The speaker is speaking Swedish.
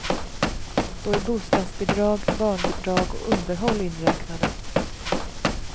Då är bostadsbidrag, barnbidrag och underhåll inräknade.